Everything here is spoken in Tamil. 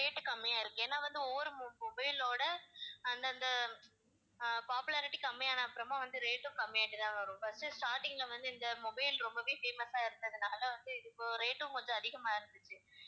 rate கம்மியா இருக்கு ஏன்னா வந்து ஒவ்வொரு mo~ mobile ஓட அந்தந்த அஹ் popularity கம்மியான அப்பறமா வந்து rate ம் கம்மியா ஆயிட்டு தான் வரும் first starting ல வந்து இந்த mobile ரொம்பவே famous ஆ இருந்ததினால வந்து இது rate ம் கொஞ்சம் அதிகமாயிருந்துச்சு